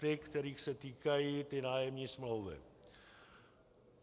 Ty, kterých se týkají ty nájemní smlouvy.